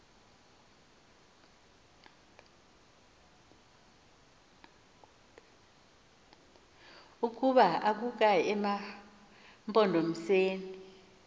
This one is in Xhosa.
ukuba akukayi emampondomiseni